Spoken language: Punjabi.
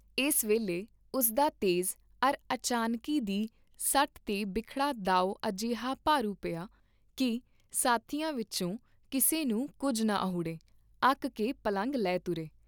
ਇਸ ਵੇਲੇ ਉਸਦਾ ਤੇਜ਼ ਅਰ ਅਚਾਨਕੀ ਦੀ ਸੱਟ ਤੇ ਬਿਖੜਾ ਦਾਉ ਅਜਿਹਾ ਭਾਰੂ ਪਿਆ ਕੀ ਸਾਥੀਆਂ ਵਿਚੋਂ ਕਿਸੇ ਨੂੰ ਕੁੱਝ ਨਾ ਅਹੁੜੇ, ਅੱਕ ਕੇ ਪਲੰਘ ਲੈ ਤੁਰੇ।